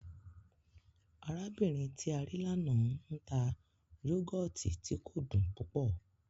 Arábìnrin tí a rí l'ánà n ta yọ́gọ̀tì tí kò dùn púpọ̀